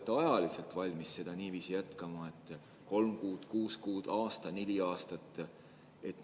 Kui kaua te olete valmis niiviisi jätkama, kas kolm kuud, kuus kuud, aasta, neli aastat?